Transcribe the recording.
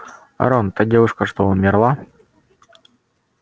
рон та девушка что умерла